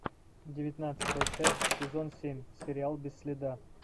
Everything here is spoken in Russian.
девятнадцатая часть сезон семь сериал без следа